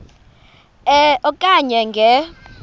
e okanye nge